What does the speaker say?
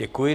Děkuji.